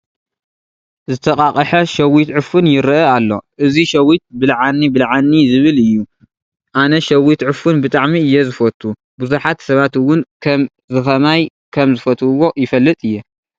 ዝተቃቕሐ ሸዊት ዕፉን ይርአ አሎ፡፡ እዚ ሸዊት ብልዓኒ ብልዓኒ ዝብል እዩ፡፡ ኣነ ሸዊት ዕፉን ብጣዕሚ እየ ዝፈቱ፡፡ ብዙሓት ሰባት እውን ከምዝኸማይ ከምዝፈትውዎ ይፈልጥ እየ፡፡